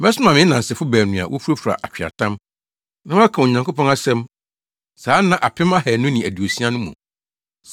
Mɛsoma me nnansefo baanu a wofurafura atweaatam, na wɔaka Onyankopɔn asɛm saa nna apem ahannu ne aduosia no mu.”